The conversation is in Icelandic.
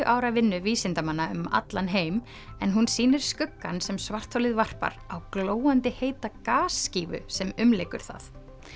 ára vinnu vísindamanna um allan heim en hún sýnir skuggann sem svartholið varpar á glóandi heita sem umlykur það